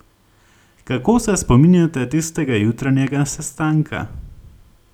Kako se spominjate tistega jutranjega sestanka?